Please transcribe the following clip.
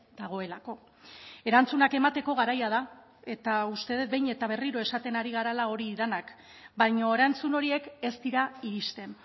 dagoelako erantzunak emateko garaia da eta uste dut behin eta berriro esaten ari garela hori denak baina erantzun horiek ez dira iristen